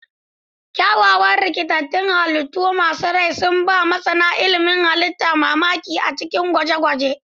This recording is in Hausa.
Kyawawan rikitattun halittu masu rai sun ba masana ilimin halitta mamaki a cikin dakin gwaje-gwaje.